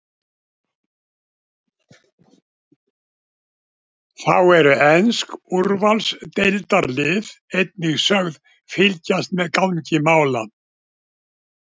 Þá eru ensk úrvalsdeildarlið einnig sögð fylgjast með gangi mála.